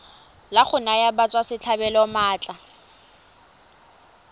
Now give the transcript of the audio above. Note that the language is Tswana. la go naya batswasetlhabelo maatla